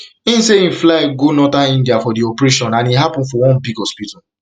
im say im fly go fly go northern india for di operation and e happun for one big hospital